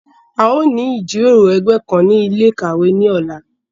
A yóò ni ijiroro ẹgbẹ kan ni ile-ikawe ni ọla